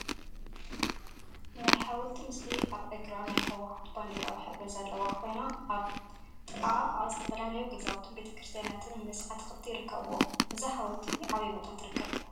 ናይ ሓወልቲ ምስሊ አብ እግራ ናይ ህወሓት ባንዴራ ሕብሪ ዘለዋ ኮይና፤ አብ ጥቅአ ከዓ ዝተፈላለዩ ገዛውቲን ቤተክርስትያናት ምስ አትክልቲ ይርከቡዎ፡፡ እዛ ሓወልቲ አበይ ቦታ ትርከብ?